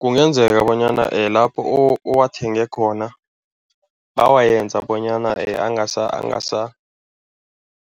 Kungenzeka bonyana lapho owathenge khona bawayenza bonyana